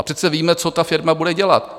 A přece víme, co ta firma bude dělat.